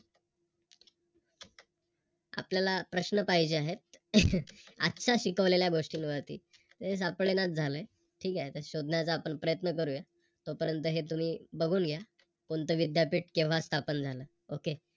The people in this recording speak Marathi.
आपल्याला प्रश्न पाहिजे आहे. आजच्या शिकवलेल्या गोष्टींवरती तेच सापडेना झालंय. ठीक आहे शोधण्याचा आपण प्रयत्न करूया. तोपर्यंत हे तुम्ही बघून घ्या. कोणत विद्यापीठ केंव्हा स्थापन झालं.